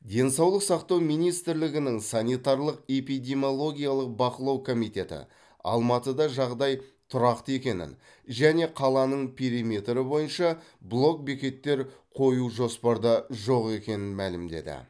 денсаулық сақтау министрлігінің санитарлық эпидемиологиялық бақылау комитеті алматыда жағдай тұрақты екенін және қаланың периметрі бойынша блок бекеттер қою жоспарда жоқ екенін мәлімдеді